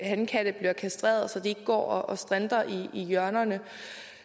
hankatte blive kastreret så de ikke går og strinter i hjørnerne